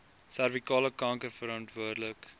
servikale kanker verantwoordelik